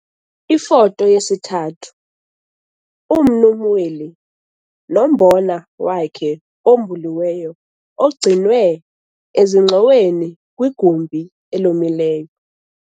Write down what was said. Ifoto 3- UMnu Mweli nombona wakhe obhuliweyo ogcinwe ezingxoweni kwigumbi elomileyo.